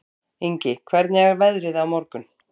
Ingi, hvernig er veðrið á morgun?